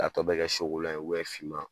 K'a tɔ bɛɛ kɛ ye finma.